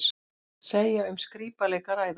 Segja um skrípaleik að ræða